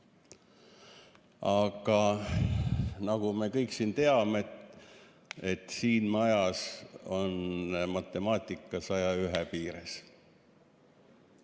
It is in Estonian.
Aga nagu me kõik teame, siin majas käib matemaatika 101 piires.